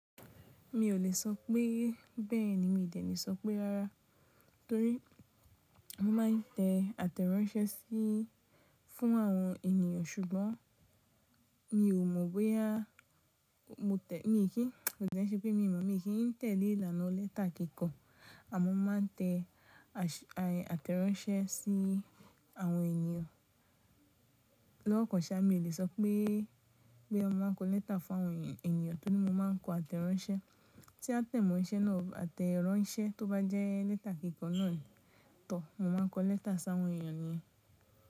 Mi ò lè sọ pé bẹ́ẹ̀ ni, mi ò dẹ́lẹ̀ sọ pé rárá, torí mo máa ń tẹ àtẹ̀ránsẹ́ sí fún àwọn ènìyàn ṣùgbọ́n mi ò mọ̀ bóyá mo tẹ̀, mi kì í, kò ṣe pé mi mọ̀, mi kì í tẹ̀lé ìlànà ó lẹ́tà kíkọ, àmọ́ mo máa ń tẹ àtẹ̀ránsẹ́ sí àwọn ènìyàn. Lọ́wọ́ kan ṣá, mi ò lè sọ pé, pé mo máa ń kọ lẹ́tà fún àwọn ènìyàn torí mo máa ń kọ àtẹ̀ránsẹ́. Tí a tẹ̀mọ́ iṣẹ́ náà, àtẹ̀ránsẹ́ tó bá jẹ́ lẹ́tà kíkọ náà tọ, mo máa ń kọ lẹ́tà sí àwọn ènìyàn yẹn.